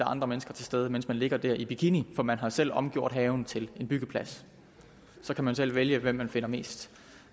andre mennesker til stede mens man ligger der i bikini for man har selv omgjort haven til en byggeplads så kan man selv vælge hvem man finder mest